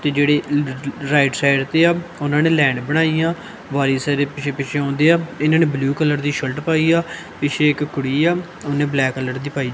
ਤੇ ਜਿਹੜੀ right side ਤੇ ਆ ਓਹਨਾਂ ਨੇ ਲੈਨ ਬਣਾਈ ਆ ਵਾਰੀ ਸਾਰੇ ਪਿੱਛੇ-ਪਿੱਛੇ ਆਉਂਦੇ ਆ ਇਹਨਾਂ ਨੇ ਬਲੂ ਕਲਰ ਦੀ ਸ਼ਰਟ ਪਾਈ ਆ ਪਿੱਛੇ ਇੱਕ ਕੁੜੀ ਆ ਉਹਨੇ ਬਲੈਕ ਕਲਰ ਦੀ ਪਾਈ --